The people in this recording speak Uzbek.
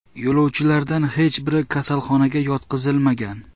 Yo‘lovchilardan hech biri kasalxonaga yotqizilmagan.